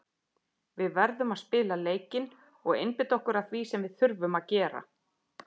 Við verðum að spila leikinn og einbeita okkur að því sem við þurfum að gera.